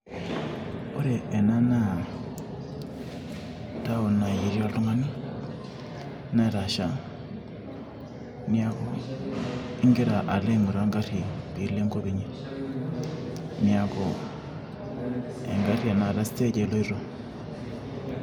Ore ena naa taon nai etii oltung'ani, netasha. Niaku igira alo aing'oru egarri pilo enkop inyi. Neeku egarri ena, stage eloito.